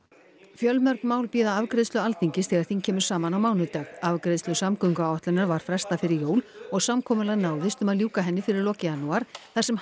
fjölmörg mál bíða afgreiðslu Alþingis þegar þing kemur saman á mánudag afgreiðslu samgönguáætlunar var frestað fyrir jól og samkomulag náðist um að ljúka henni fyrir lok janúar þar sem